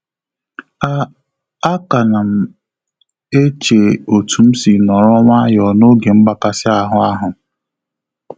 A A ka m na-eche otu m si nọrọ nwayọ na-oge mgbakasị ahụ ahu